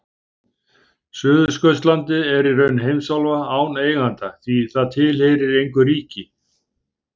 Suðurskautslandið er í raun heimsálfa án eiganda því það tilheyrir engu ríki.